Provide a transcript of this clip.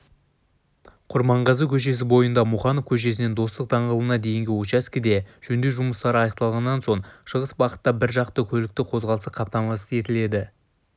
құрманғазы көшесі бойында мұқанов көшесінен достық даңғылына дейінгі учаскеде жөндеу жұмыстары аяқталған соң шығыс бағытта біржақты көлік қозғалысы қамтамасыз етіледі